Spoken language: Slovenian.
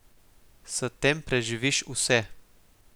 S tem preživiš vse.